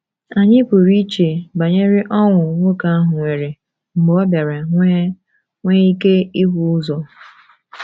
Anyị pụrụ iche banyere ọṅụ nwoke ahụ nwere mgbe ọ bịara nwee nwee ike ịhụ ụzọ.